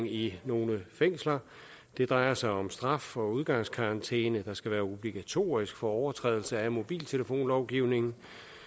i nogle fængsler det drejer sig om straf og udgangskarantæne der skal være obligatorisk for overtrædelse af mobiltelefonlovgivningen